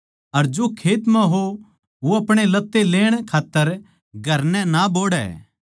अर जो खेत म्ह हो वो अपणे लत्तें लेण खात्तर घर नै ना बोहड़ैं